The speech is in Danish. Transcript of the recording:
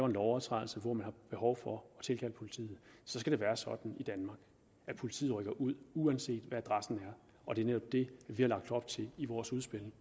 en lovovertrædelse hvor man har behov for at tilkalde politiet så skal det være sådan i danmark at politiet rykker ud uanset hvad adressen er og det er netop det vi har lagt op til i vores udspil